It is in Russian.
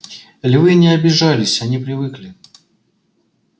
львы не обижались они привыкли